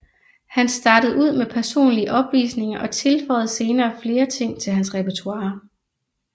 Han startede ud med personlige opvisninger og tilføjede senere flere ting til hans repertoire